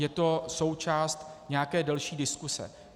Je to součást nějaké delší diskuse.